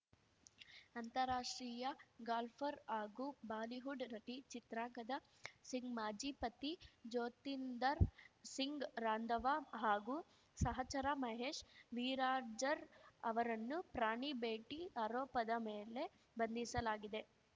ಅಂತಾರಾಷ್ಟ್ರೀಯ ಗಾಲ್ಫರ್ ಹಾಗೂ ಬಾಲಿವುಡ್‌ ನಟಿ ಚಿತ್ರಾಂಗದ ಸಿಂಗ್‌ ಮಾಜಿ ಪತಿ ಜ್ಯೋತಿಂದರ್ ಸಿಂಗ್‌ ರಾಂಧವ ಹಾಗೂ ಸಹಚರ ಮಹೇಶ್‌ ವಿರಾರ್ಜರ್ ಅವರನ್ನು ಪ್ರಾಣಿ ಬೇಟಿ ಆರೋಪದ ಮೇಲೆ ಬಂಧಿಸಲಾಗಿದೆ